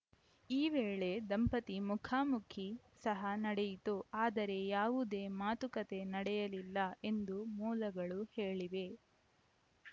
ಈ ವೇಳೆ ದಂಪತಿ ಮುಖಾಮುಖಿ ಸಹ ನಡೆಯಿತು ಆದರೆ ಯಾವುದೇ ಮಾತುಕತೆ ನಡೆಯಲಿಲ್ಲ ಎಂದು ಮೂಲಗಳು ಹೇಳಿವೆ